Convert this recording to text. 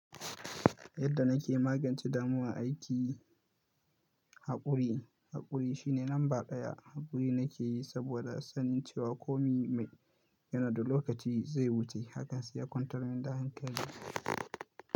Yadda na ke magance damuwar aiki, haƙuri, haƙuri shine lamba ɗaya. Haƙuri na ke yi saboda sanin cewa komi mai yanadi lokaci zai wuce. Hakan sai ya kwantar min da hankali.